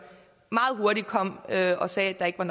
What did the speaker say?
meget hurtigt kom og sagde at der ikke var